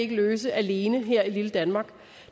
løse alene her i lille danmark